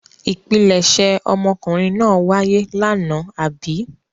Ìpilẹ̀ṣẹ̀ ọmọkùnrin náà wáyé lánàá, àbí?